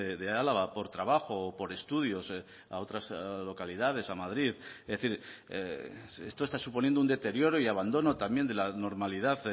de álava por trabajo o por estudios a otras localidades a madrid es decir esto está suponiendo un deterioro y abandono también de la normalidad